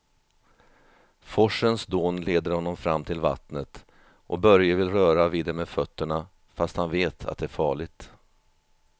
Forsens dån leder honom fram till vattnet och Börje vill röra vid det med fötterna, fast han vet att det är farligt.